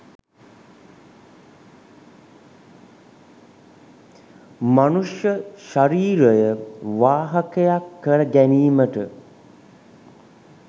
මනුෂ්‍ය ශරීරය වාහකයක් කර ගැනීමට